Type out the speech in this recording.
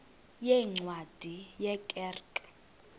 yeencwadi ye kerk